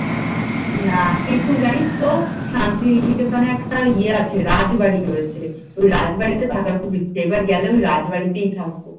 না, কিন্তু জানিস তো শান্তিনিকেতনে একটা ইয়ে আছে রাজবাড়ি রয়েছে ওই রাজবাড়িতে থাকার খুব ইচ্ছে তো এবার গেলে ওই রাজবাড়ীতেই থাকবো